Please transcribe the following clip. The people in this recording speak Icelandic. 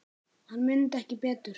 Hann mundi ekki betur!